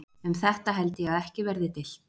Um þetta held ég að ekki verði deilt.